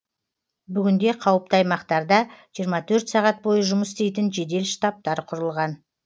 бүгінде қауіпті аймақтарда жиырма төрт сағат бойы жұмыс істейтін жедел штабтар құрылған